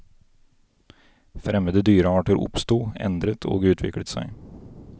Fremmede dyrearter oppsto, endret og utviklet seg.